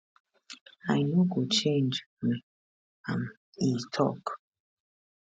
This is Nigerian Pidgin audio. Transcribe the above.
i no go change um am e tok